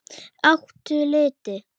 Áttu liti?